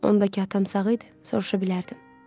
Ondakı atam sağ idi, soruşa bilərdim.